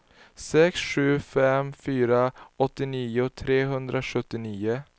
sex sju fem fyra åttionio trehundrasjuttionio